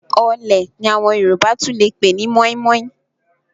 Ọ̀ọ̀lẹ̀ ni àwọn Yorùbá tún lè pè ní mọ́ímọ́í.